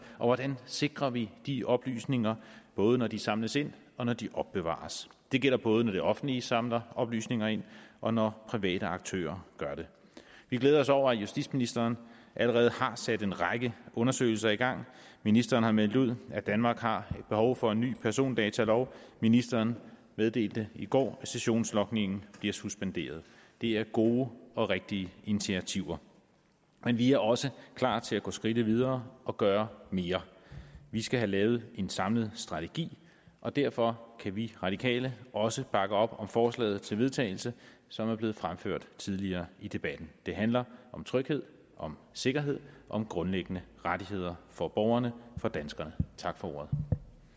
og hvordan sikrer vi de oplysninger både når de samles ind og når de opbevares det gælder både når det offentlige samler oplysninger ind og når private aktører gør det vi glæder os over at justitsministeren allerede har sat en række undersøgelser i gang ministeren har meldt ud at danmark har behov for en ny persondatalov ministeren meddelte i går at sessionslogningen bliver suspenderet det er gode og rigtige initiativer men vi er også klar til at gå skridtet videre og gøre mere vi skal have lavet en samlet strategi og derfor kan vi radikale også bakke op om forslaget til vedtagelse som er blevet fremført tidligere i debatten det handler om tryghed om sikkerhed om grundlæggende rettigheder for borgerne for danskerne tak for